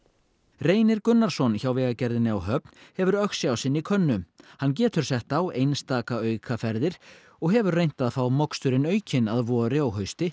Reynir Gunnarsson hjá Vegagerðinni á Höfn hefur Öxi á sinni könnu hann getur sett á einstaka aukaferðir og hefur reynt að fá moksturinn aukinn að vori og hausti